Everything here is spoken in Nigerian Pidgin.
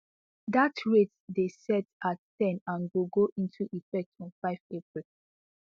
dat rate dey set at ten and go go into effect on five april